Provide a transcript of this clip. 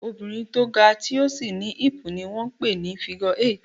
Obìnrin tó ga, tí ó sì ní hip ni wón ń pè ní "figure eight".